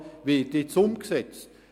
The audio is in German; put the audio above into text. Der NAP wird jetzt umgesetzt.